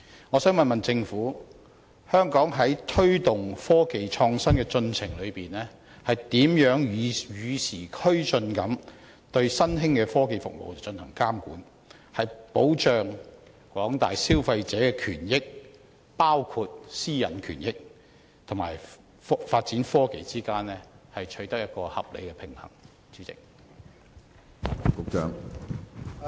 我想問政府，香港在推動科技創新的進程中，如何與時並進地對新興科技服務進行監管，在保障廣大消費者的權益與發展科技之間取得合理平衡？